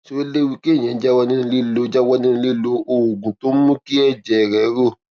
ṣé ó léwu kéèyàn jáwó nínú lílo jáwó nínú lílo oògùn tó ń mú kí èjè rè rò